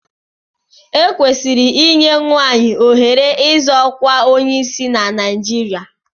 E kwesịrị inye nwaanyị ohere ịzọ ọkwa onyeisiala na Naijiria.